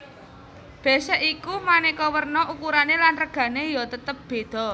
Bésék iku manéka werna ukurané lan regané ya tetep bédha